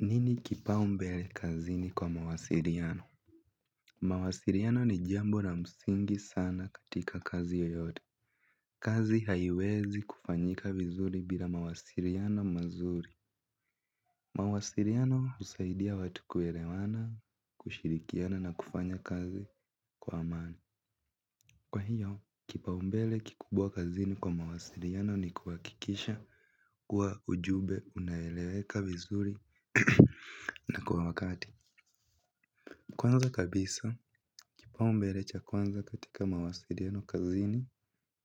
Nini kipaumbele kazini kwa mawasiliano? Mawasiliano ni jambo la msingi sana katika kazi yoyote. Kazi haiwezi kufanyika vizuri bila mawasiliano mazuri. Mawasiliano husaidia watu kuelewana, kushirikiana na kufanya kazi kwa amani. Kwa hiyo, kipaumbele kikubwa kazini kwa mawasiliano ni kuhakikisha kuwa ujumbe unaeleweka vizuri na kwa wakati. Kwanza kabisa, kipaumbele cha kwanza katika mawasiliano kazini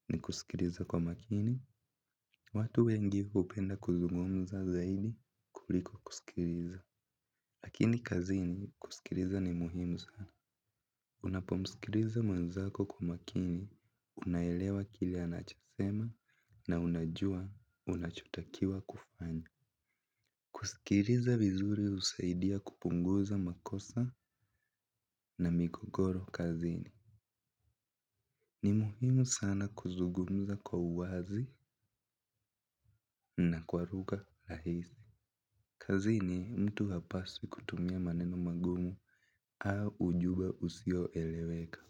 ni kusikiliza kwa makini. Watu wengi hupenda kuzungumza zaidi kuliko kusikiliza. Lakini kazini kusikiliza ni muhimu. Unapo mskiliza mwenzako kwa makini, unaelewa kile anachosema na unajua unachotakiwa kufanya. Kusikiliza vizuri husaidia kupunguza makosa na migogoro kazini. Ni muhimu sana kuzungumza kwa uwazi na kwa lugha rahisi. Kazini mtu hapaswi kutumia maneno magumu au ujumbe usioeleweka.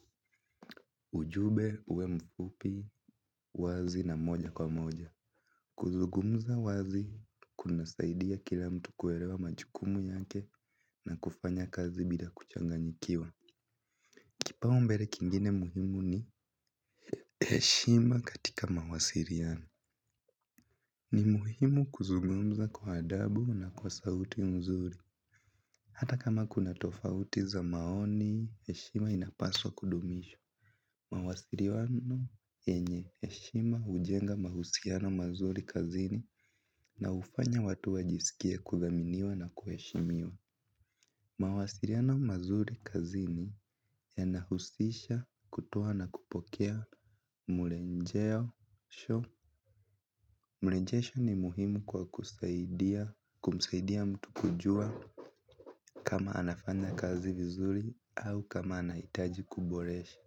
Ujumbe uwe mfupi wazi na moja kwa moja. Kuzungumza wazi kunasaidia kila mtu kuelewa majukumu yake na kufanya kazi bila kuchanganyikiwa. Kipaumbele kingine muhimu ni heshima katika mawasiliana. Ni muhimu kuzungumza kwa adabu na kwa sauti mzuri. Hata kama kuna tofauti za maoni, heshima inapaswa kudumishwa. Mawasiliano yenye heshima hujenga mahusiano mazuri kazini na hufanya watu wajisikie kudhaminiwa na kuheshimiwa. Mawasiliana mazuri kazini yanahusisha kutoa na kupokea murenjeo show. Mrejesho ni muhimu kwa kumsaidia mtu kujua kama anafanya kazi vizuri au kama anahitaji kuboresha.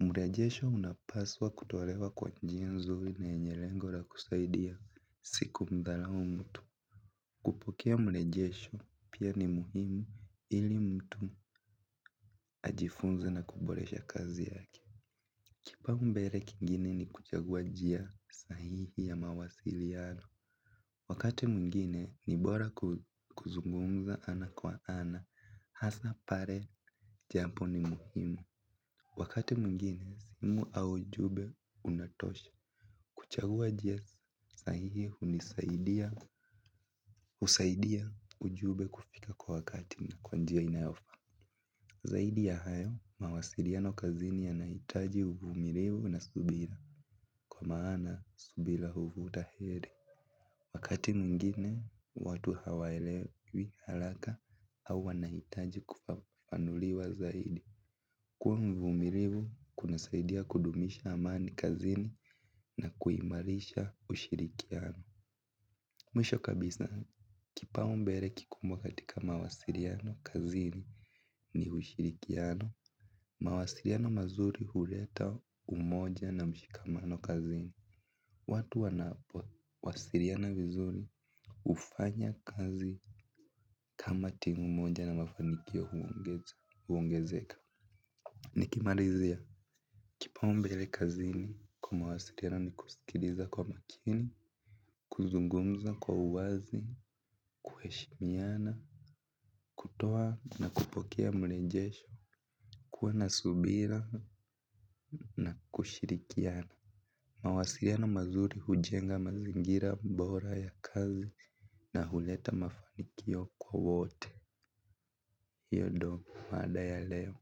Mrejesho unapaswa kutolewa kwa njia nzuri na yenye lengo la kusaidia siku mbarao mtu. Kupokea mrejesho pia ni muhimu ili mtu ajifunze na kuboresha kazi yake. Kipaumbele kingine ni kuchagua njia sahihi ya mawasiliano. Wakati mwingine ni bora kuzungumza ana kwa ana hasa pale jambo ni muhimu. Wakati mwingine simu au ujumbe unatosha. Kuchagua njia sahihi unisaidia husaidia ujumbe kufika kwa wakati na kwa njia inayofaa. Zaidi ya hayo mawasiliano kazini yanahitaji uvumilivu na subira. Kwa maana subira huvuta heri. Wakati mwingine watu hawaelewi haraka au wanahitaji kufafanuliwa zaidi. Kuwa mvumilivu kunasaidia kudumisha amani kazini na kuimarisha ushirikiano. Mwisho kabisa kipaumbele kikubwa katika mawasiliano kazini ni ushirikiano. Mawasiliano mazuri huleta umoja na mshikamano kazini. Watu wanapo wasiliana vizuri hufanya kazi kama timu moja na mafanikio huongezeka Nikimalizia Kipaumbele kazini kwa mawasiliano ni kusikiliza kwa makini. Kuzungumza kwa uwazi, kuheshimiana, kutoa na kupokea mrejesho. Kuwa na subira na kushirikiana. Mawasiliana mazuri hujenga mazingira bora ya kazi na huleta mafanikio kwa wote. Hiyo ndo mada ya leo.